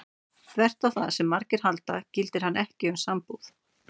Þvert á það sem margir halda gildir hann ekki um sambúð.